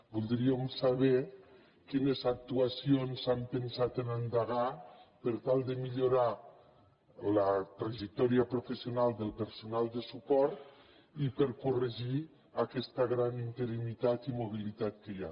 voldríem saber quines actuacions han pensat endegar per tal de millorar la trajectòria professional del personal de suport i per corregir aquesta gran interinitat i mobilitat que hi ha